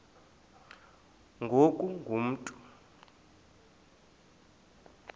ngoku ungu mntu